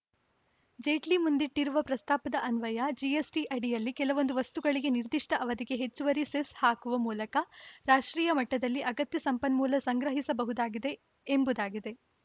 ಜೇಟ್ಲಿ ಮುಂದಿಟ್ಟಿರುವ ಪ್ರಸ್ತಾಪದ ಅನ್ವಯ ಜಿಎಸ್‌ಟಿ ಅಡಿಯಲ್ಲಿ ಕೆಲವೊಂದು ವಸ್ತುಗಳಿಗೆ ನಿರ್ದಿಷ್ಟಅವಧಿಗೆ ಹೆಚ್ಚುವರಿ ಸೆಸ್‌ ಹಾಕುವ ಮೂಲಕ ರಾಷ್ಟ್ರೀಯ ಮಟ್ಟದಲ್ಲಿ ಅಗತ್ಯ ಸಂಪನ್ಮೂಲ ಸಂಗ್ರಹಿಸಬಹುದಾಗಿದೆ ಎಂಬುದಾಗಿದೆ